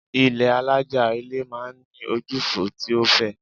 Ilé́ alájà-ilẹ̀ máa ń ní ojúfò tí ó fẹ̀.